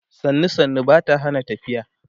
sannu sannu Bata Hana tafiya